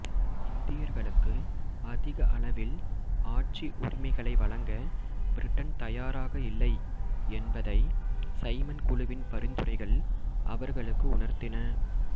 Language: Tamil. இந்தியர்களுக்கு அதிக அளவில் ஆட்சி உரிமைகளை வழங்க பிரிட்டன் தயாராக இல்லை என்பதை சைமன் குழுவின் பரிந்துரைகள் அவர்களுக்கு உணர்த்தின